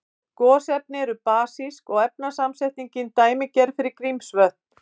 Gosefni eru basísk og efnasamsetningin dæmigerð fyrir Grímsvötn.